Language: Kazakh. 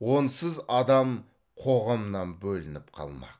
онсыз адам қоғамнан бөлініп қалмақ